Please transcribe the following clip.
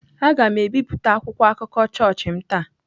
Aga m ebipụta akwụkwọ akụkọ chọọchị m taa.